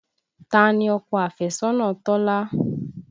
Ta ni ọkọ afẹ́sọ́nà Tọ́lá?